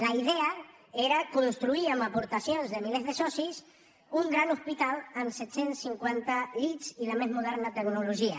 la idea era construir amb aportacions de milers de socis un gran hospital amb set cents i cinquanta llits i la més moderna tecnologia